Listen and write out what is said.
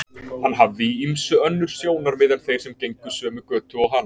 Hann hafði í ýmsu önnur sjónarmið en þeir sem gengu sömu götu og hann.